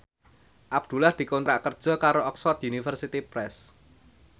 Abdullah dikontrak kerja karo Oxford University Press